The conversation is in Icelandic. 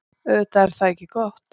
Auðvitað er það ekki gott.